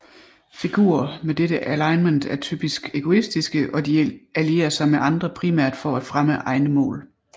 Figurer med dette alignment er typisk egoistiske og de allierer sig med andre primært for at fremme egne mål